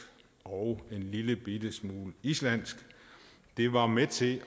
og en lille bitte smule islandsk det var med til